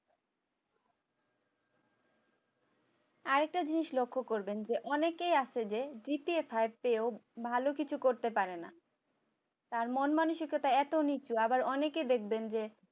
আরেকটা জিনিস লক্ষ্য করবেন যে অনেকেই আছে যে পেয়েও ভালো কিছু করতে পারে না। তার মন মানসিকতা এত নিচু যে আবার অনেকে দেখবেন যে